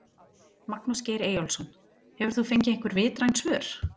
Magnús Geir Eyjólfsson: Hefur þú fengið einhver vitræn svör?